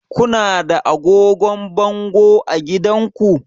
Ku na da agogon bango a gidanku?